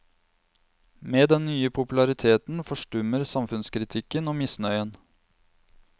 Med den nye populariteten forstummer samfunnskritikken og misnøyen.